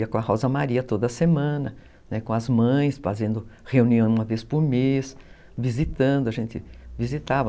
Ia com a Rosa Maria toda semana, com as mães, fazendo reunião uma vez por mês, visitando, a gente visitava.